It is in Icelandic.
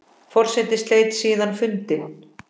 Forseti sleit síðan fundi.